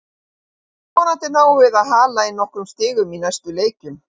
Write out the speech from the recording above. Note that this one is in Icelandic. Vonandi náum við að hala inn nokkrum stigum í næstu leikjum.